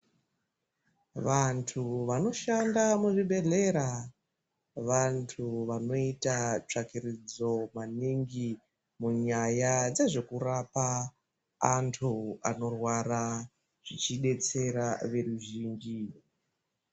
Vantu vanoshanda muzvibhehlera vantu vanoita tsvakiridzo maningi munyaya dzezvekurapa antu anorwara zvichidetsera veruzhinji.